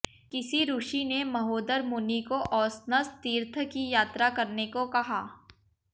किसी ऋषि ने महोदर मुनि को औशनस तीर्थ की यात्रा करने को कहा